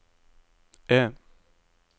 E